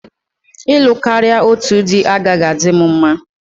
Ịlụ karịa otu dị agaghị adịrị m mma.